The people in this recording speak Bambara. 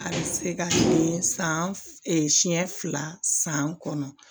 A bɛ se ka san siɲɛ fila san kɔnɔ